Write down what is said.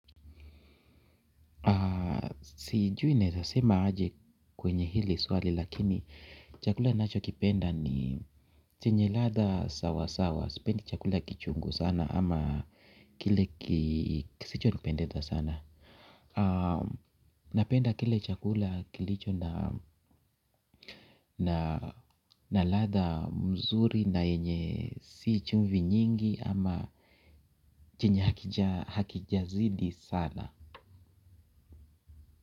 Sijui naweza sema aje kwenye hili swali lakini chakula ninachokipenda ni chenye ladha sawa sawa. Sipendi chakula kichungu sana ama kile kisichonipendeza sana. Napenda kile chakula kilicho na latha mzuri na yenye si chumvi nyingi ama chenye hakija zidi sana.